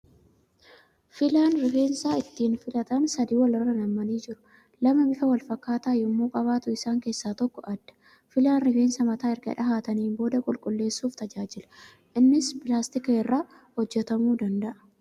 Filaan rifeensa ittiin filatan sadii wal irra nammanii jiru. Lama bifa wal fakkaatu yemmuu qabaatu isaan keessa tokko adda. Filaan rifeensa mataa erga dhahataniin booda qulqulleessuuf tajaajila. Innis pilaastika irraa hojjatamuu danda'a.